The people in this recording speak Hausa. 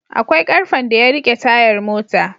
Akwai karfen da yarike tayar mota